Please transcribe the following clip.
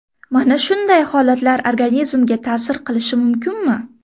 Mana shunday holatlar organizmga ta’sir qilishi mumkinmi?